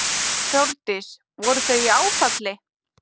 Þórdís: Voru þau í áfalli?